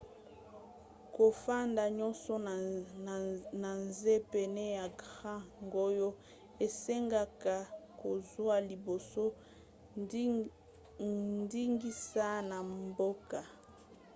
kofanda nyonso na nse pene ya grand canyon esengaka kozwa liboso ndingisa na mboka